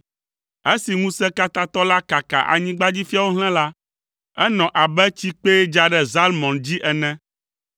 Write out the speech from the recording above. Esi Ŋusẽkatãtɔ la kaka anyigbadzifiawo hlẽ la, enɔ abe tsikpee dza ɖe Zalmɔn dzi ene.